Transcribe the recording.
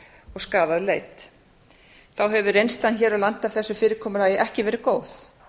og skaðað leit þá hefur reynslan hér á landi af þessu fyrirkomulagi ekki verið góð